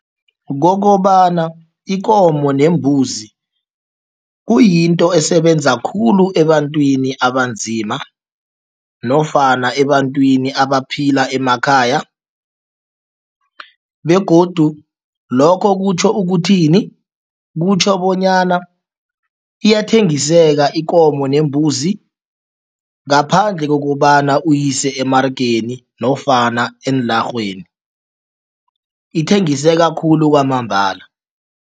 Kokobana ikomo nembuzi kuyinto esebenza khulu ebantwini abanzima nofana ebantwini abaphila emakhaya begodu lokho kutjho ukuthini? Kutjho bonyana iyathengiseka ikomo nembuzi ngaphandle kokobana uyise emaregeni nofana eenlarheni. Ithengiseka khulu kwamambala.